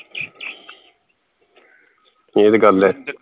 ਇਹ ਤੇ ਗੱਲ ਹੈ